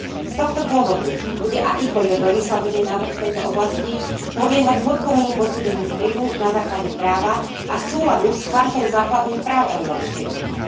Z tohto dôvodu bude akýkoľvek legislatívny návrh v tejto oblasti podliehať hĺbkovému posúdeniu vplyvu na základe práva a súladu s Chartou základných práv Európskej únie.